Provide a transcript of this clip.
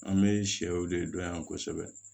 An bɛ sɛw de dɔn yan kosɛbɛ